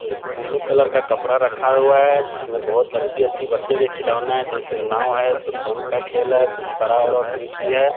एक blue colour का कपड़ा रखा हुआ है जिसमें बहुत अच्छी-अच्छी बच्चे का खिलौना है जैसे नाव है शतरंज का खेल है कुछ आकृति है।